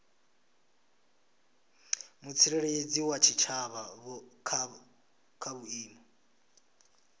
mutsireledzi wa tshitshavha kha vhuimo